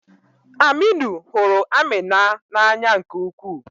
Aminu hụrụ Amina n'anya nke ukwuu.